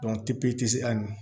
ani